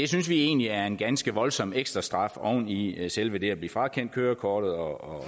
synes vi egentlig er en ganske voldsom ekstrastraf oven i selve det at blive frakendt kørekortet og